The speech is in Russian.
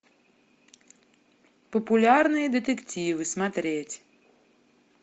популярные детективы смотреть